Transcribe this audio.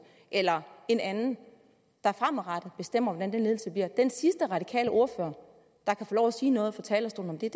eller en anden der fremadrettet bestemmer hvordan den ledelse bliver den sidste radikale ordfører der kan få lov at sige noget fra talerstolen er